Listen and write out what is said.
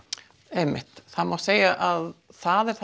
einmitt það má segja að það er